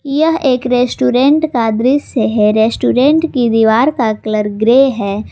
यह एक रेस्टोरेंट का दृश्य है रेस्टोरेंट की दीवार का कलर ग्रे है।